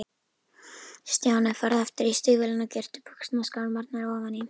Stjáni, farðu aftur í stígvélin og girtu buxnaskálmarnar ofan í.